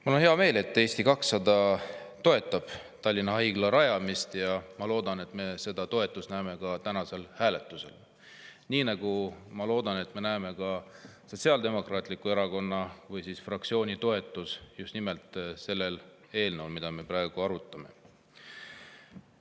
Mul on hea meel, et Eesti 200 toetab Tallinna Haigla rajamist, ja ma loodan, et me näeme seda toetust ka tänasel hääletusel, nii nagu ma loodan, et me näeme Sotsiaaldemokraatliku Erakonna fraktsiooni toetust just nimelt sellele eelnõule, mida me praegu arutame.